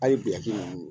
A ye biyɛn ninnu